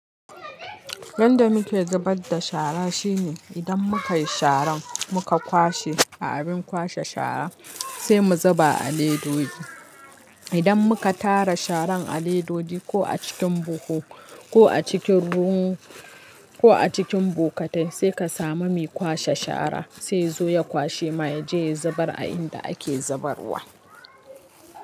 Yanda muke zabar da shara shine idan muka yi sharan muka kwashe a abin kwashe shara sai mu zuba a ledoji Idan muka tara sharan a ledoji ko a cikin buhu ko a cikin ruwan ko a cikin bokatai sai ka samu mai kwashe shara sai ya zo ya kwashe maye jiya ya zubar a inda ake zabarwa.